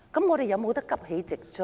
我們可否急起直追？